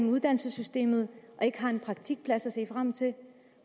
uddannelsessystemet og ikke har en praktikplads at se frem til